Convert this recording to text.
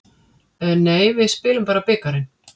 Nei, við spilum bara bikarinn.